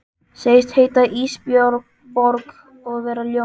Segist heita Ísbjörg og vera ljón.